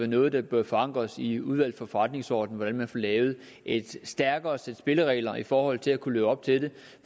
noget der bør forankres i udvalget for forretningsordenen altså hvordan man får lavet et stærkere sæt spilleregler i forhold til at kunne leve op til det